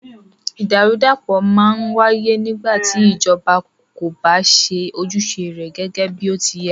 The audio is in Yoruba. Ìdàrúdàpọ̀ má ń wáyé nígbà tí ìjọba kò bá ṣe ojúṣe rẹ gẹgẹ bí ó ti yẹ́.